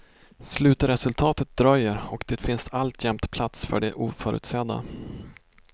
Slutresultatet dröjer, och det finns alltjämt plats för det oförutsedda.